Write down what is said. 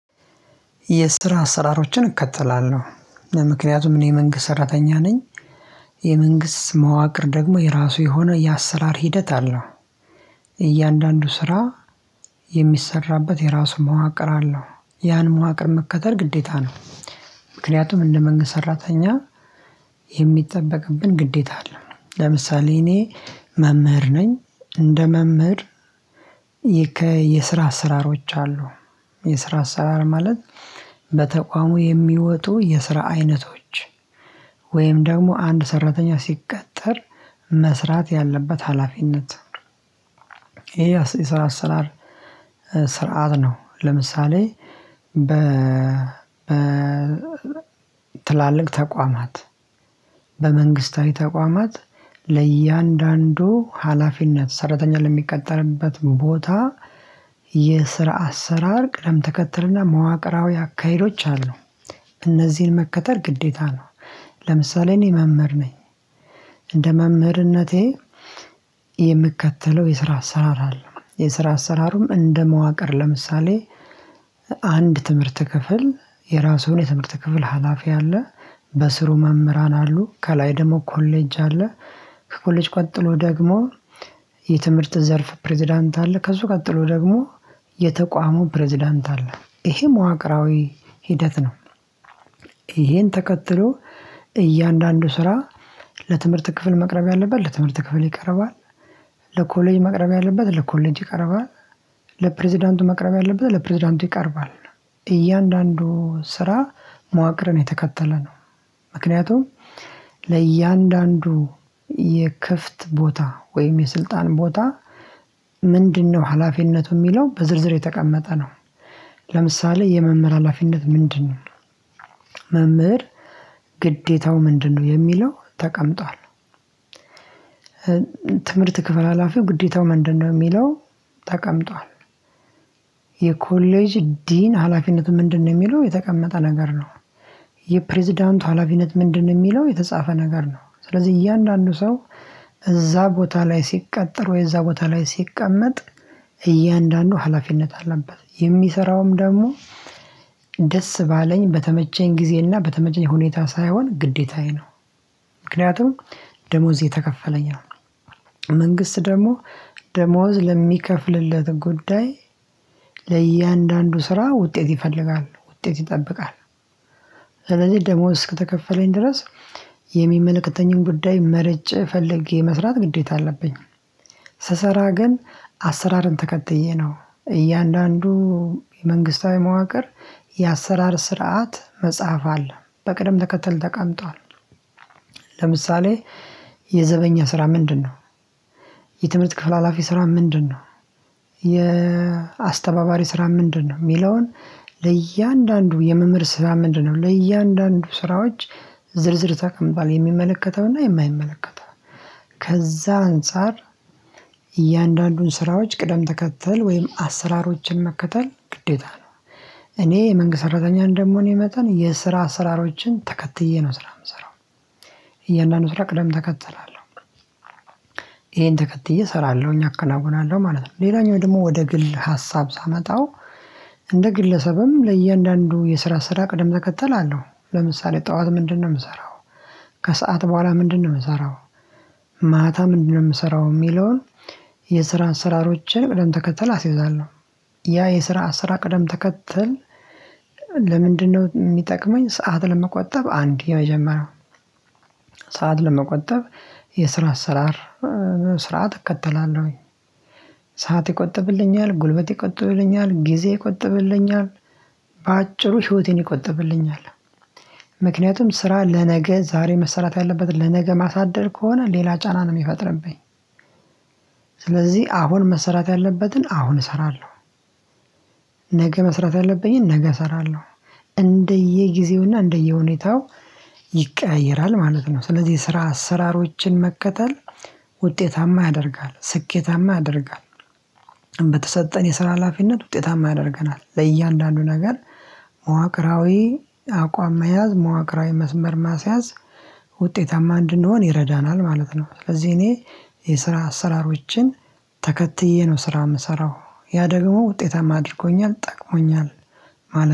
የስትራ አሰራሮችን እከተላለሁ ምክንያቱም እኔ መንግስት ሰራተኛ ነኝ። የመንግስት መዋቅር ደግሞ የራሱ የሆነ የአሰራር ሂደት አለው። እያንዳንዱ ስራ የሚሰራበት የራሱ መዋቅር አለው ያን መዋቅር መከተል ግዴታ ነው። ምክንያቱም እንደ መንግስት ሰራተኛ። የሚጠበቅብን ግዴታ አለን ለምሳሌ እኔ መምህር ነኝ እንደ መምህር የስራ አሰራሮች አሉ። የስራ አሰራር ማለት በተቋሙ የሚወጡ የስራ አይነቶች ወይም ደግሞ አንድ ሰራተኛ ሲቀጠር መስራት ያለበት ሀላፊነት። ይሄ የስራ አሰራር ስርዓት ነው። ለምሳሌ በ በ ትላልቅ ተቋማት በመንግስታዊ ተቋማት ለእያንዳንዱ ሀላፊነት ሰራተኛ ለሚቀጠርበት ቦታ የስራ አሰራር ቅደም ተከትልና መዋቅራዊ አካሄዶች አሉ። እነዚህን መከተል ግዴታ ነው። ለምሳሌ እኔ መምህር ነኝ። እንደ መምህርነቴ የምከተለው የስራ አሰራር አለ የስራ አሰራሩም እንደ መዋቅር ለምሳሌ አንድ ትምህርት ክፍል የራሱን የትምህርት ክፍል ሀላፊ አለ። በስሩ መምህራን አሉ ከላይ ደግሞ ኮሌጅ አለ። ከኮሌጅ ቀጥሎ ደግሞ የትምህርት ዘርፍ ፕሬዝዳንት አለ ከሱ ቀጥሎ ደግሞ የተቋሙ ፕሬዝዳንት አለ ይሄ መዋቅራዊ ሂደት ነው። ይሄን ተከትሎ እያንዳንዱ ስራ ለትምህርት ክፍል መቅረብ ያለበት ለትምህርት ክፍል ይቀርባል። ለኮሌጅ መቅረብ ያለበት ለኮሌጅ ይቀርባል። ለፕሬዝዳንቱ መቅረብ ያለበት ለፕሬዝዳንቱ ይቀርባል። እያንዳንዱ ስራ መዋቅርን የተከተለ ነው። ምክንያቱም ለእያንዳንዱ የክፍት ቦታ ወይም የስልጣን ቦታ ምንድነው ሀላፊነቱ የሚለው በዝርዝር የተቀመጠ ነው። ለምሳሌ የመምህር ሀላፊነት ምንድነው? መምህር ግዴታው ምንድነው የሚለው ተቀምጧል። ትምህርት ክፍል ሀላፊ ግዴታው ምንድነው የሚለው ተቀምጧል። የኮሌጅ ዲን ሀላፊነት ምንድነው የሚለው የተቀመጠ ነገር ነው። የፕሬዝዳንቱ ሀላፊነት ምንድነው የሚለው የተጻፈ ነገር ነው። ስለዚህ እያንዳንዱ ሰው እዛ ቦታ ላይ ሲቀጠር ወይ እዛ ቦታ ላይ ሲቀመጥ እያንዳንዱ ሀላፊነት አለበት የሚሰራውም ደግሞ ደስ ባለኝ በተመቸኝ ጊዜና በተመቸኝ ሁኔታ ሳይሆን ግዴታዬ ነው። ምክንያቱም ደሞዝ እየተከፈለኝ ነው። መንግስት ደግሞ ደሞዝ ለሚከፍልለት ጉዳይ ለእያንዳንዱ ስራ ውጤት ይፈልጋል ውጤት ይጠብቃል። ስለዚህ ደሞዝ ከተከፈለኝ ድረስ የሚመለከተኝን ጉዳይ መርጬ ፈለጌ መስራት ግዴታ አለብኝ። ስሰራ ግን አሰራርን ተከትዬ ነው። እያንዳንዱ የመንግስታዊ መዋቅር የአሰራር ስርዓት መጽሐፍ አለ በቅደም ተከተል ተቀምጧል። ለምሳሌ የዘበኛ ስራ ምንድነው? የትምህርት ክፍል ሀላፊ ስራ ምንድነው? የአስተባባሪ ስራ ምንድነው የሚለውን ለእያንዳንዱ የመምህር ስራ ምንድነው ለእያንዳንዱ ስራዎች ዝርዝርታ ከሚባል የሚመለከተውና የማይመለከተው ከዛ አንፃር እያንዳንዱን ስራዎች ቅደም ተከተል ወይም አሰራሮችን መከተል ግዴታ ነው። እኔ የመንግስት ሰራተኛ እንደምሆኔ የመጣን የስራ ስራሮችን ተከትዬ ነው ስራ የምሰራው። እያንዳንዱ ስራ ቅደም ተከተል አለው። ይሄን ተከትዬ እሰራለሁኝ አከናውናለሁ ማለት ነው። ሌላኛው ደግሞ ወደ ግል ሀሳብ ሳመጣው እንደ ግለሰብም ለእያንዳንዱ የስራ ስራ ቅደም ተከተል አለው። ለምሳሌ ጠዋት ምንድነው የምሰራው? ከሰአት በኋላ ምንድነው የምሰራው? ማታ ምንድነው የምሰራው የሚለውን የስራ አሰራሮችን ቅደም ተከተል አስይዛለሁ። ያ የስራ ስራ ቅደም ተከተል ለምንድነው የሚጠቅመኝ ሰዓት ለመቆጠብ አንድ የመጀመሪያው ሰዓት ለመቆጠብ የስራ አሰስራር ስርዓት እከተላለሁኝ። ሰዓት ይቆጥብልኛል ጉልበት ይቆጥብልኛል ጊዜ ይቆጥብልኛል። በአጭሩ ህይወቴን ይቆጥብልኛል። ምክንያቱም ስራ ለነገ ዛሬ መሰራት ያለበት ለነገ ማሳደር ከሆነ ሌላ ጫና ነው የሚፈጥርብኝ። ስለዚህ አሁን መሰራት ያለበትን አሁን እሰራለሁ። ነገ መሰራት ያለብኝን ነገ እሰራለሁ። እንደየጊዜውና እንደየሁኔታው ይቀያይራል ማለት ነው። ስለዚህ ስራ አሰራሮችን መከተል ውጤታማ ያደርጋል ስኬታማ ያደርጋል። በተሰጠን የስራ ሀላፊነት ውጤታማ ያደርገናል ለእያንዳንዱ ነገር መዋቅራዊ አቋም መያዝ መዋቅራዊ መስመር ማስያዝ ውጤታማ እንድንሆን ይረዳናል ማለት ነው። ስለዚህ እኔ የስራ አሰራሮችን ተከትዬ ነው ስራ የምሰራው ያ ደግሞ ውጤታማ አድርጎኛል ጠቅሞኛል። ማለት